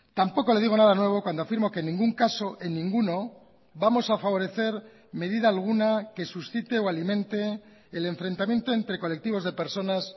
tampoco le digo nada nuevo cuando afirmo que en ningún caso en ninguno vamos a favorecer medida alguna que suscite o alimente el enfrentamiento entre colectivos de personas